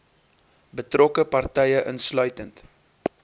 betrokke partye insluitend